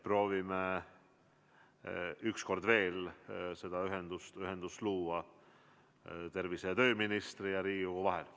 Proovime üks kord veel ühendust luua tervise‑ ja tööministri ning Riigikogu vahel.